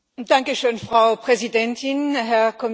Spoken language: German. Frau Präsidentin, Herr Kommissar!